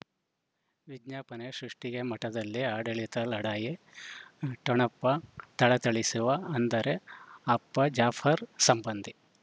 ವಿಜ್ಞಾಪನೆ ಸೃಷ್ಟಿಗೆ ಮಠದಲ್ಲಿ ಆಡಳಿತ ಲಢಾಯಿ ಠೊಣಪ ಥಳಥಳಿಸುವ ಅಂದರೆ ಅಪ್ಪ ಜಾಫರ್ ಸಂಬಂಧಿ